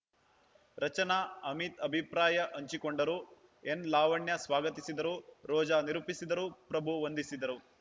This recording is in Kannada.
ರಚನಾ ಅಮಿತ್‌ ಅಭಿಪ್ರಾಯ ಹಂಚಿಕೊಂಡರು ಎನ್‌ಲಾವಣ್ಯ ಸ್ವಾಗತಿಸಿದರು ರೋಜಾ ನಿರೂಪಿಸಿದರು ಪ್ರಭು ವಂದಿಸಿದರು